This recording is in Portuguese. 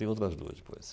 Tem outras duas depois.